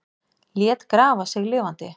Lét grafa sig lifandi